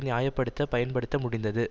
நியாய படுத்த பயன்படுத்த முடிந்தது